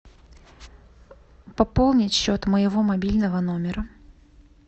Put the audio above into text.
пополнить счет моего мобильного номера